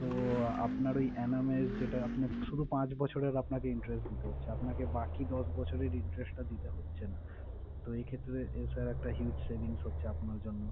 তো আপানার ওই annum এর যেটা আপনি শুধু পাঁচ বছরের আপনাকে interest দিতে হচ্ছে। আপনাকে বাকি দশ বছরের interest টা দিতে হচ্ছে না। তো এই ক্ষেত্রে sir huge savings হচ্ছে আপনার জন্য